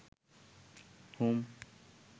home